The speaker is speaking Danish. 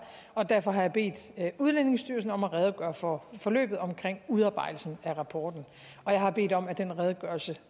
og derfor har jeg bedt udlændingestyrelsen om at redegøre for forløbet omkring udarbejdelsen af rapporten og jeg har bedt om at den redegørelse